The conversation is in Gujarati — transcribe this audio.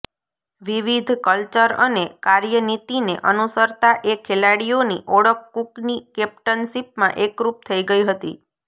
વિવિધ કલ્ચર અને કાર્યનીતિને અનુસરતા એ ખેલાડીઓની ઓળખ કૂકની કૅપ્ટનશીપમાં એકરૂપ થઈ ગઈ હતી